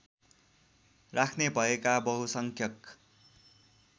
राख्ने भएका बहुसंख्यक